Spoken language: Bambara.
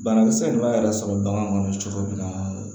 Banakisɛ de b'a yɛrɛ sɔrɔ bagan kɔnɔ cogo min na